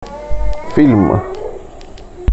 фильм